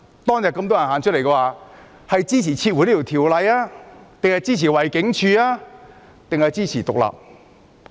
當天遊行人士要求撤回法案、包圍警署，還是支持香港獨立？